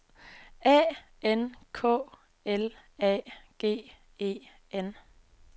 A N K L A G E N